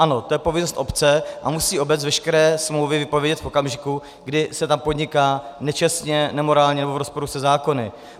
Ano, to je povinnost obce a musí obec veškeré smlouvy vypovědět v okamžiku, kdy se tam podniká nečestně, nemorálně nebo v rozporu se zákony.